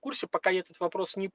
курсе пока я этот вопрос не